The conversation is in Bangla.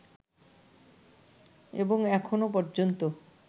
এবং এখনও পর্যন্ত